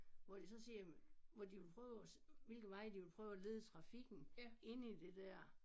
Hvor de så siger jamen hvor de vil prøve at hvilke veje de vil prøve at lede trafikken inde i det der